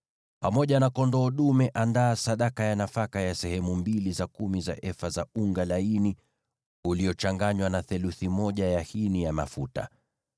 “ ‘Pamoja na kondoo dume andaa sadaka ya nafaka ya sehemu mbili za kumi za efa za unga laini uliochanganywa na theluthi moja ya hini ya mafuta,